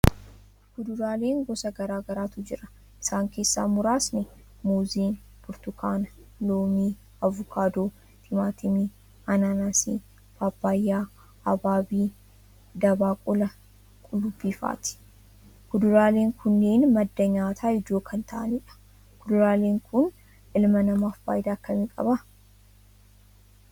Kuduraaleen gosa garagaraatu jira isaan keessaa muraasni muuzii, burtukaana, loomii, avukaadoo, timaatimii, anaanaasii, paappayaa, abaabii, dabaaqula, qullubbiifaati. kuduraaleen kunneen madda nyaataa ijoo kan ta'anidha. Kuduraaleen kun ilma namaaf faayidaa akkamii qaba?